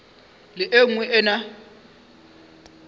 le e nngwe e na